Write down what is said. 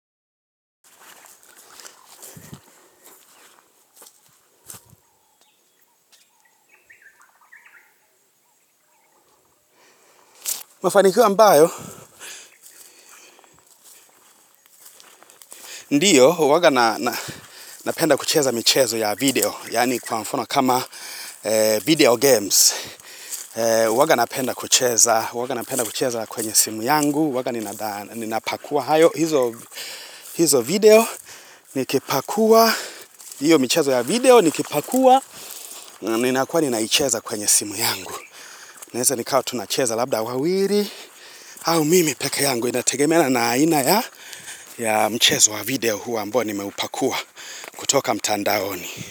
Mafanikio ambayo, ndiyo, huwanga napenda kucheza michezo ya video, yaani kwa mfano kama video games. hUwanga napenda kucheza kwenye simu yangu, huwanga ninapakua, hayo hizo video, nikipakua, hiyo michezo ya video, nikipakua, ninakua ninaicheza kwenye simu yangu. Naweza nikawa tunacheza labda wawili au mimi peke yangu inategemena na aina ya mchezo wa video huu ambao ni meupakua kutoka mtandaoni.